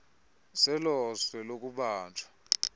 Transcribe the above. zelo zwe lokubanjwa